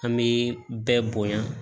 An bɛ bɛɛ bonya